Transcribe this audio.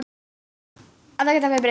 Að ekkert hefði breyst.